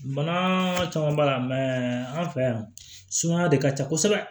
Bana caman b'a la an fɛ yan sumaya de ka ca kosɛbɛ